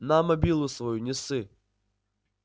на мобилу свою не ссы